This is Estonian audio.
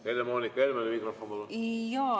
Helle-Moonika Helmele mikrofon, palun!